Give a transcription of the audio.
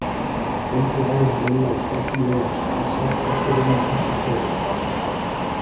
Kvöldið áður en Lilla og Stefán lögðu af stað sátu allir inni í litlu stofunni.